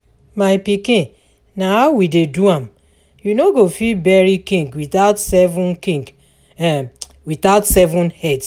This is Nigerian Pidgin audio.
My pikin na how we dey do am, you no go fit bury King without seven King without seven heads